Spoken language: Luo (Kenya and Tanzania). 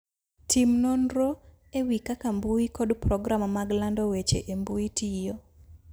Tim nonro e wi kaka mbui kod program mag lando weche e mbui tiyo.